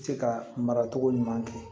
Se ka mara togo ɲuman kɛ